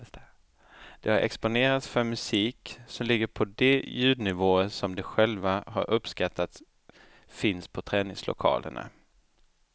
De har exponerats för musik som ligger på de ljudnivåer som de själva har uppskattat finns på träningslokalerna.